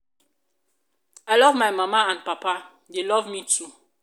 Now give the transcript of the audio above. i love my mama and papa dey love me too.